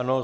Ano.